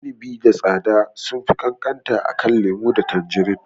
Inibi da tsada sunfi ƙanƙanta akan lemo da tanjirin.